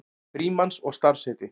Frímanns og starfsheiti.